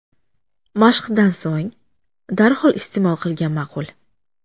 Mashqdan so‘ng darhol iste’mol qilgan ma’qul.